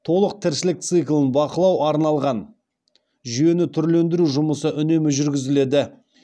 толық тіршілік циклін бақылау арналған жүйені түрлендіру жұмысы үнемі жүргізіледі